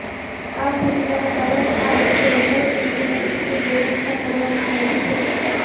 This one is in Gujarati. આ ઘટનાના કારણે આ વર્ષે વઘારે એમ્બ્યુલન્સની વ્યવસ્થા કરવામાં આવી છે